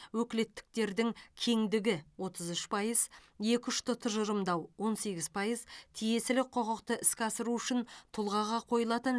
өкілеттіктердің кеңдігі отыз үш пайыз екіұшты тұжырымдау он сегіз пайыз тиесілі құқықты іске асыру үшін тұлғаға қойылатын